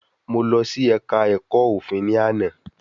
Mo lọ sí ẹ̀ka ẹ̀kọ́ òfin ni àná